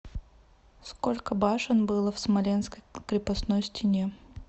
сколько башен было в смоленской крепостной стене